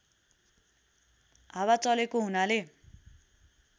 हावा चलेको हुनाले